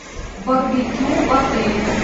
барбекю в отеле